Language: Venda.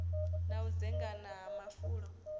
na u dzengama ha mafulo